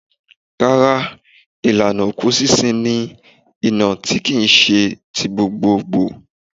Rárá, ìlànà òkú sísun ní iná kì í se ti gbogbogbò.